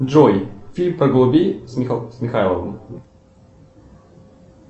джой фильм про голубей с михайловым